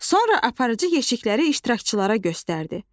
Sonra aparıcı yeşikləri iştirakçılara göstərdi.